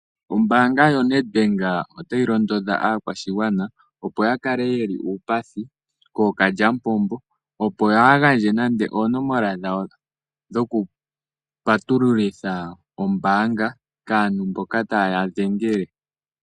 Ombanga yoNedbank otayi londodha aakwashigwana opo yakale yeli uupathi kokalyamupombo kaayagandje oonomola dhawo nande dhokupatululitha kaantu mboka taye yadhengele.